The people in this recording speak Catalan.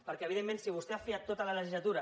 perquè evidentment si vostè ha fiat tota la legislatura